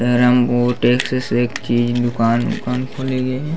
रंगो टैक्ससेस की दुकान उकान खुल गए हे।